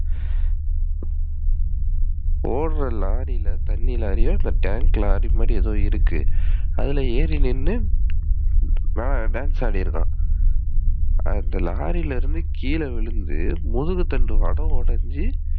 ஓடுற லாரில தண்ணி லாரியோ, tank லாரிமாதிரி ஏதோ இருக்கு. அதுல ஏறி நின்னு dance ஆடிருக்கான். அந்த லாரில இருந்து கீழ விழுந்து, முதுவு தண்டுவடம் உடஞ்சு,